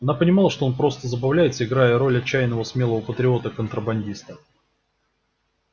она понимала что он просто забавляется играя роль отчаянного смелого патриота-контрабандиста